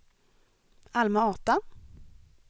Alma-Ata